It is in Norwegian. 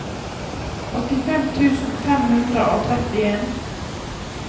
åttifem tusen fem hundre og trettien